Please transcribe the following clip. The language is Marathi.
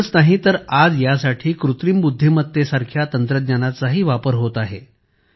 एवढेच नाही तर आज यासाठी कृत्रिम बुद्धिमत्ता सारख्या तंत्रज्ञानाचाही वापर होत आहे